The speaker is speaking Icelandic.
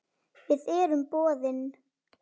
Við erum boðin.